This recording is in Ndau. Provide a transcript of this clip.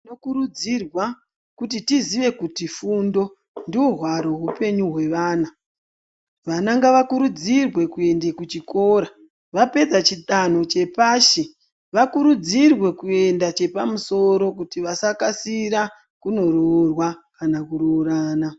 Tinokurudzirwa kuti tiziye kuti fundo ndohwaro hweupenyu hweana, vana ngavakurudzirwe kuende kuchikora vapedza chidanho chepashi vakurudzirwe kuenda chepamusoro kuti vasakasira kunoroorwa kana kuroorana.